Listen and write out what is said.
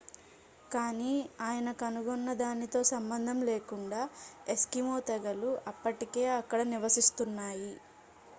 కానీ ఆయన కనుగొన్నదానితో సంబంధం లేకుండా ఎస్కిమో తెగలు అప్పటికే అక్కడ నివసిస్తున్నాయి